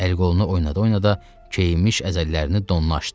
Əl-qolunu oynada-oynada keyinmiş əzəllərini donlaşdı.